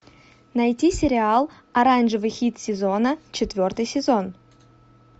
найти сериал оранжевый хит сезона четвертый сезон